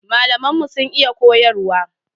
Malaman mu sun iya koyarwa.